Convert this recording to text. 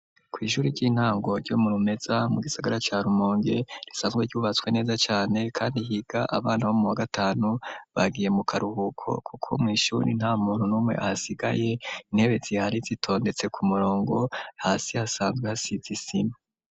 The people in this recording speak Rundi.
Kw'ishuru ry'intango ryo mu rumeza mu gisagara ca rumonge risanzwe ryubatswe neza cane, kandi higa abana bo mu wa gatanu bagiye mu karuhuko, kuko mw'ishuri nta muntu n'umwe hasigaye intebe zi hari zitondetse ku murongo hasi hasanzwe hasizisima.